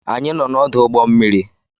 Anyị nọ n'ọdụ ụgbọ mmiri